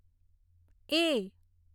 એ